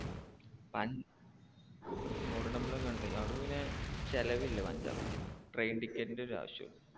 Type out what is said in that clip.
പൻ golden temple ഒക്കെ കണ്ട് അവിടെ പിന്നെ ചിലവില്ല പഞ്ചാബിൽ train ticket ന്റെ ഒരു ആവശ്യം ഒള്ളു.